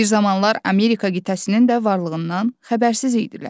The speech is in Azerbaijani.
Bir zamanlar Amerika qitəsinin də varlığından xəbərsiz idilər.